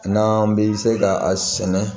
N'an bɛ se ka a sɛnɛ